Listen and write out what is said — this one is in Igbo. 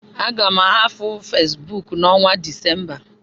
Aga m ahapụ Fesbuk n' onwa Decemba